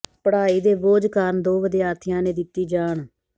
ਪਡ਼੍ਹਾਈ ਦੇ ਬੋਝ ਕਾਰਨ ਦੋ ਵਿਦਿਆਰਥੀਆਂ ਨੇ ਦਿੱਤੀ ਜਾਨ